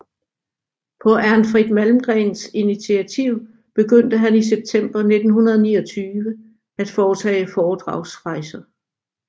På Ernfrid Malmgrens initiativ begyndte han i september 1929 at foretage foredragsrejser